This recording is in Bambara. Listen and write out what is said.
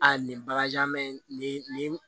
A nin bagaji jan mɛ nin nin